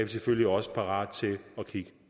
selvfølgelig også parate til at kigge